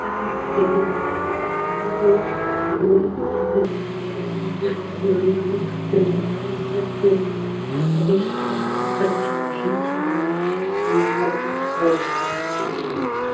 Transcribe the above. там где другое животное погибло бы или ээ смирилось белый клык применялся к обстоятельствам и продолжал жить не ломая своего упорства